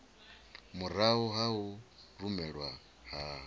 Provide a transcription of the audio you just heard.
murahu ha u rumelwa ha